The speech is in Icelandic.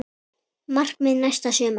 Markmið næsta sumars?